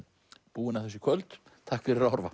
búin að þessu í kvöld takk fyrir að horfa